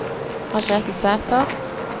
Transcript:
Margrethe Sæther